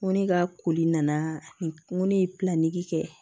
Ŋo ne ka koli nana n ko ne ye kɛ